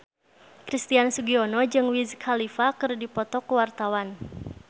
Christian Sugiono jeung Wiz Khalifa keur dipoto ku wartawan